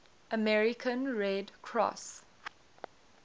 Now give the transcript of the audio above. american red cross